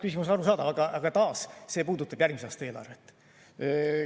Küsimus on arusaadav, aga taas, see puudutab järgmise aasta eelarvet.